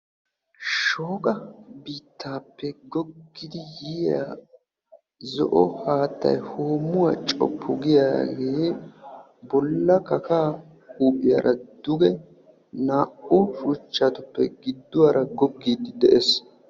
Shooqa biittaappe goggidi yiya zo"o haattay hoommuwaa coppu giyaagee bolla kakaa huuphiyaara duge naa"u shuchchatuppe gidduwaara goggiiddi de'ees.